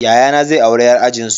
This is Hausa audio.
Yayana zai auri yar ajinsu.